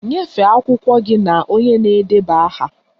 Nyefee akwụkwọ gị na onye na-edeba aha!